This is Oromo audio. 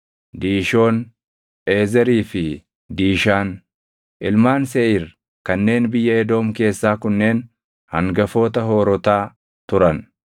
Diishoon, Eezerii fi Diishaan. Ilmaan Seeʼiir kanneen biyya Edoom keessaa kunneen hangafoota hoorotaa turan.